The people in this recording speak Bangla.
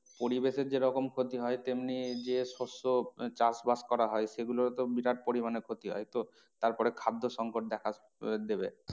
পরিবেশের যেরকম ক্ষতি হয় তেমনি যে শস্য চাষবাস করা হয় সেই গুলোরও তো বিরাট পরিমানে ক্ষতি হয় তো তারপরে খাদ্য সংকট দেখা আহ দেবে।